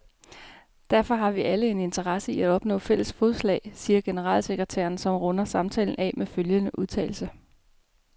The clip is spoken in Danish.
Derfor har vi alle en interesse i at opnå fælles fodslag, siger generalsekretæren, som runder samtalen af med følgende udtalelse.